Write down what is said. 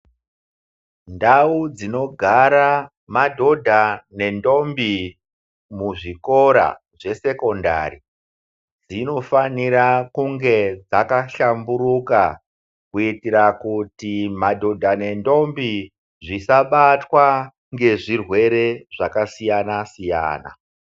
Ndau dzinogara madhodha ne ndomi mu zvikora zve sekondari dzino fanira kunge dzaka hlamburika kuitira kuti madhodha ne ndombi zvisa batwa nge zvirwere zvaka siyana siyana.